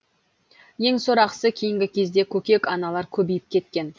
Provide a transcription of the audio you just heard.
ең сорақысы кейінгі кезде көкек аналар көбейіп кеткен